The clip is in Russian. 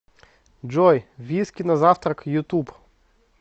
джой виски на завтрак ютуб